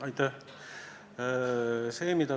Aitäh!